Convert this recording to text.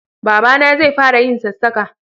Baba na zai fara yin sassaka